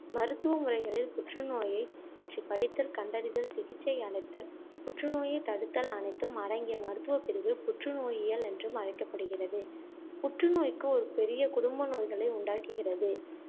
மருத்துவ முறைகளில் புற்றுநோயைப்பற்றி படித்தல், கண்டறிதல், சிகிச்சை அளித்தல், புற்றுநோயைத்தடுத்தல் அனைத்தும் அடங்கிய மருத்துவப்பிரிவு புற்றுநோயியல் என்றும் அழைக்கப்படுகிறது. புற்றுநோய்க்கு ஒரு பெரிய குடும்ப நோய்களே உண்டாக்குகிறது.